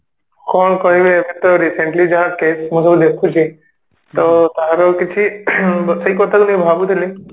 କଣ କହିବି ଏବେ ତ ମୁଁ recently ଯାହା ମୁଁ case ସବୁ ଦେଖୁଛି ତ ୟାର କିଛି ing ସେଇ କଥା ବସି ଭାବୁଥିଲି